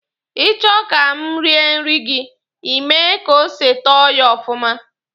Ị chọ ka m rie nri gị, Ị mee ka ose tọọ ya ọfụma.